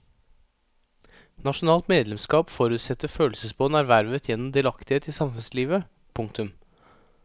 Nasjonalt medlemskap forutsetter følelsesbånd ervervet gjennom delaktighet i samfunnslivet. punktum